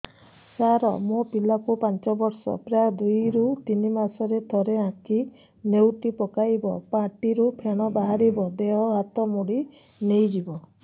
ସାର ମୋ ପିଲା କୁ ପାଞ୍ଚ ବର୍ଷ ପ୍ରାୟ ଦୁଇରୁ ତିନି ମାସ ରେ ଥରେ ଆଖି ନେଉଟି ପକାଇବ ପାଟିରୁ ଫେଣ ବାହାରିବ ଦେହ ହାତ ମୋଡି ନେଇଯିବ